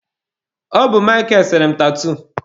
Ọ bụ Mịkel sere m tatuu.